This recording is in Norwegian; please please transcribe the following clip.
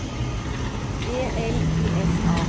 E L I S A